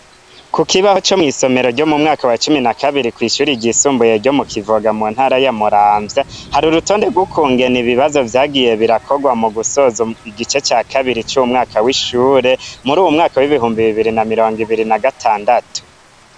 Kukibaho co mw'isomero ryo mu mwaka wa cumi na kabiri ryo kw'ishure ryisumbuye ryo mu kivoga mu ntara ya muramvya, har'urutonde rwukungene ibibazo vyagiye birakorwa mugusoza igice ca kabiri c'uy'umwaka w'ishure, muruy'umwaka w'ibihumbi bibibiri na mirongibiri na gatandatu.